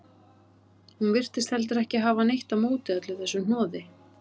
Hún virtist heldur ekki hafa neitt á móti öllu þessu hnoði.